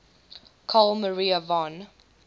carl maria von